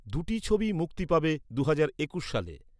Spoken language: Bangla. দুটি ছবিই মুক্তি পাবে দুহাজার একুশ সালে।